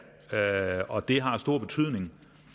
og det har stor betydning